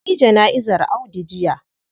An yi jana'izar Audu jiya.